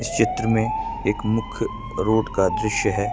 यह एक मुख्य रूप का दृश्य है।